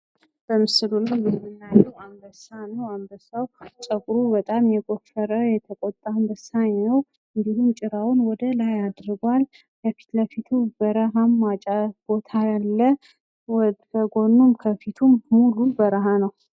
የዶሮ እርባታ ለምግብነት የሚውሉ የቤት እንስሳት ሲሆኑ፣ ቀበሮዎች ደግሞ በዱር ውስጥ ብልሆችና አዳኞች በመሆን ይታወቃሉ።